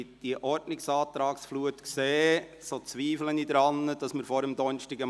Wenn ich die Flut an Ordnungsanträgen sehe, zweifle ich daran, dass wir vor Donnerstagabend fertig werden.